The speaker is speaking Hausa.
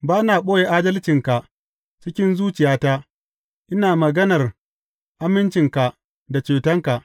Ba na ɓoye adalcinka cikin zuciyata; ina maganar amincinka da cetonka.